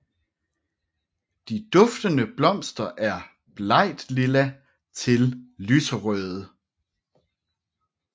De duftende blomster er blegtlilla til lyserøde